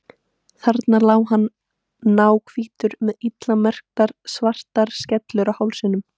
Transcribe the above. Þarna lá hann náhvítur með illa meikaðar svartar skellur á hálsinum.